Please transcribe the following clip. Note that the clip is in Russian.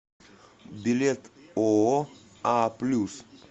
билет ооо а плюс